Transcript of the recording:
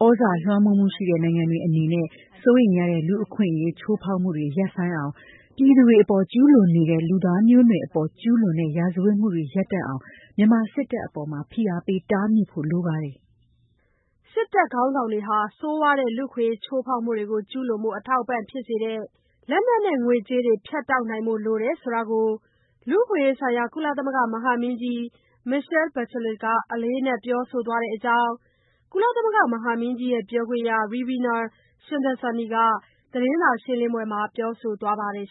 သြဇာလွှမ်းမိုးမှု ရှိတဲ့ နိုင်ငံတွေ အနေနဲ့ စိုးရိမ်ရတဲ့ လူ့အခွင့်အရေးချိုးဖောက်မှုတွေ ရပ်ဆိုင်းအောင်၊ ပြည်သူတွေအပေါ် ကျုးလွန်နေတဲ့ လူသားမျိုးနွယ်အပေါ် ကျုးလွန်တဲ့ ရာဇတ်ဝတ်မှုတွေ ရပ်တန့်အောင် မြန်မာစစ်တပ်အပေါ် ဖိအားပေးတားမြစ်ဖို့ လိုပါတယ်။” စစ်တပ်ခေါင်းဆောင်တွေ ဆိုးဝါးတဲ့ လူ့အခွင့်အရေး ချိုးဖောက်မှုတွေ ကျုးလွန်ဖို့ အထောက်အပံ့ဖြစ်စေတဲ့၊ လက်နက်နဲ့ ငွေကြးတွေ ဖြတ်တောက်နိုင်ဖို့ လိုတယ်ဆိုတာကို လူ့အခွင့်အရေးဆိုင်ရာ ကုလသမဂ္ဂ မဟာမင်းကြီး Michelle Bachelet က အလေးအနက် ပြောဆိုထားတဲ့အကြောင်း ပြောခွင့်ရ Ravina Shamdasani က သတင်းစာရှင်းလင်းပွဲမှာ ပြောဆိုသွားပါတယ်